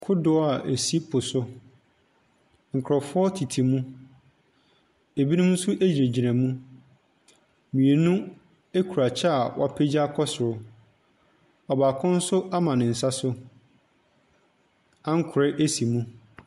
Kodoɔ a ɛsi po so. Nkurɔfoɔ tete mu. Ebinom nso gyinagyina mu. Mmienu kura kyɛ a wɔapagya kɔ soro. Ɔbaako nso ama ne nsa so. Ankorɛ si mu.